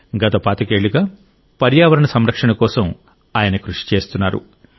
గత పాతికేళ్లుగా పర్యావరణ సంరక్షణ కోసం కృషి చేస్తున్నారు